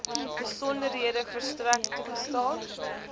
besonderhede verstrek toegestaan